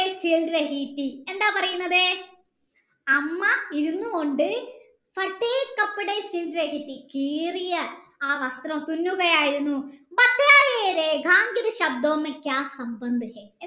എന്താ പരീന്നത് 'അമ്മ ഇരുന്നു കൊണ്ട് കീറിയ അവസ്‌ത്രം തുന്നുകയയായിരുന്നു